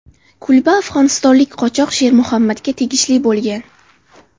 Kulba afg‘onistonlik qochoq Sher Muhammadga tegishili bo‘lgan.